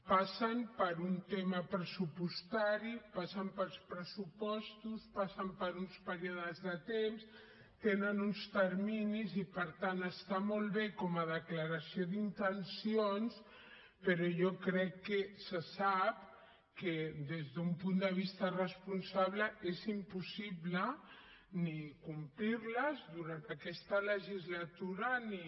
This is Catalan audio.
passen per un tema pressupostari passen pels pressupostos passen per uns períodes de temps tenen uns terminis i per tant està molt bé com a declaració d’intencions però jo crec que se sap que des d’un punt de vista responsable és impossible ni complir les durant aquesta legislatura ni